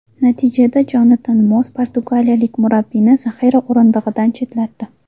Natijada Jonatan Moss portugaliyalik murabbiyni zaxira o‘rindig‘idan chetlatdi .